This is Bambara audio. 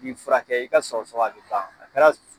Ni furakɛ i ka sɔgɔ sɔgɔ a be ban . A kɛra